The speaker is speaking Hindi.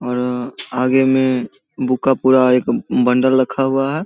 और आगे में बुक का पुरा एक बंडल रखा हुआ है।